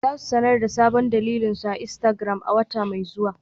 Za su sanar da sabon dandalin su a Instagram a wata mai zuwa.